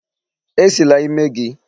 E Sila ímé gị!